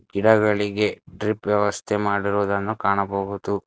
ಗಿಡಗಳಿಗೆ ಡ್ರಿಪ್ ವ್ಯವಸ್ಥೆಯನ್ನು ಮಾಡಿರುವುದನ್ನು ಕಾಣಬಹುದು.